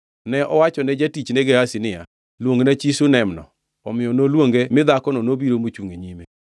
Ne owacho ne jatichne Gehazi niya, “Luongna chi Shunam-no.” Omiyo noluonge mi dhakono nobiro mochungʼ e nyime.